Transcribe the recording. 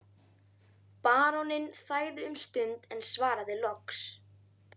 Baróninn þagði um stund en svaraði loks